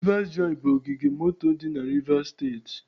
Rivers joy bụ ogige moto dị na Rivers steeti.